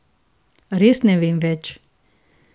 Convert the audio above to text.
Res ne vem več.